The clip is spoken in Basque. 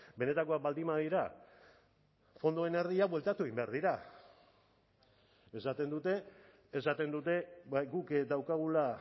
benetakoak baldin badira fondoen erdia bueltatu egin behar dira esaten dute esaten dute guk daukagula